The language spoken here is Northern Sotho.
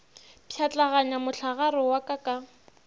pšhatlaganya mohlagare wa ka ka